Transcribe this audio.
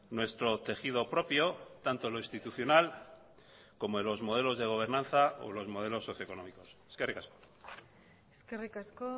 nuestro tejido propio tanto lo institucional como los modelos de gobernanza o los modelos socioeconómicos eskerrik asko eskerrik asko